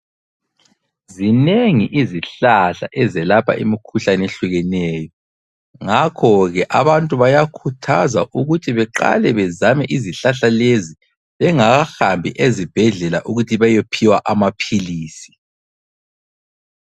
Zinengi izihlahla ezelapha imikhuhlane ehlukeneyo ngakho ke abantu bayakhuthazwa ukuthi beqale bezame izihlahla lezi bengahambi ezibhedlela ukuthi bayophiwa amaphilisi.